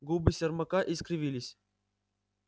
губы сермака искривились